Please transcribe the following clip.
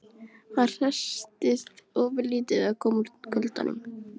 Hann hresstist ofurlítið við að koma út í kuldann.